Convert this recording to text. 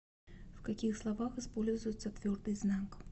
в каких словах используется твердый знак